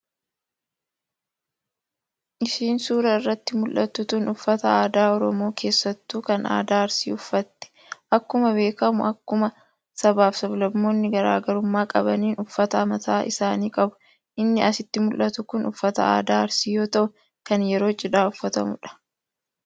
Isiin suuraa irratti muldhattu tun uffata aadaa oromoo keessattuu kan aadaa arsii uffatte. Akkuma beekkamu akkuma sabaa fi sab-lammoonni garaa garummaa qabaniin uffata mataa isaanii qabu. Inni asitti muldhatu kun uffata aadaa arsii yoo ta'u kan yeroo cidhaa uffatamuudha.